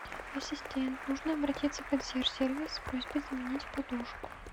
ассистент нужно обратиться в консьерж сервис с просьбой заменить подушку